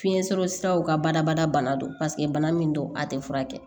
Fiɲɛ sɔrɔ siraw ka badabada bana don paseke bana min don a tɛ furakɛ